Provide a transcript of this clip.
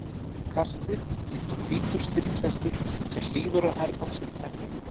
kastið, líkt og hvítur stríðshestur sem hlýðir á hermann sinn emja.